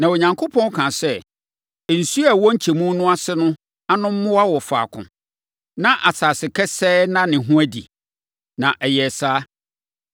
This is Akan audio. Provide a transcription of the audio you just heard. Na Onyankopɔn kaa sɛ, “Nsuo a ɛwɔ nkyɛmu no ase no ano mmoa wɔ faako, na asase kesee nna ne ho adi.” Na ɛyɛɛ saa.